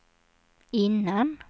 innan